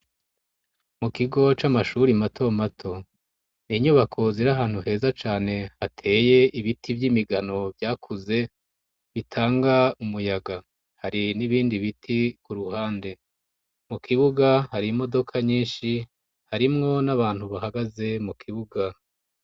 mu kigo camashuri mato mato ni nyubako zire ahantu heza cane hateye ibiti vyimigano vyakuze bitanga umuyaga hari nibindi biti ku ruhande mu kibuga hari imodoka nyinshi harimwo nabantu bahagaze mu kibuga